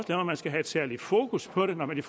man skal have særligt fokus på det når man i